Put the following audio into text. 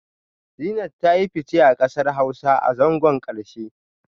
Zeenat ta yi fice a kasar Hausa a zangon karshe